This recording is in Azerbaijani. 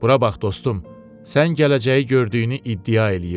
Bura bax, dostum, sən gələcəyi gördüyünü iddia eləyirsən.